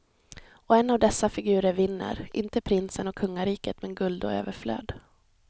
Och en av dessa figurer vinner, inte prinsen och kungariket men guld och överflöd.